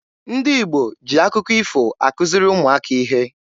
Ndị Igbo ji akụkọ ifo akuziri ụmụaka ihe.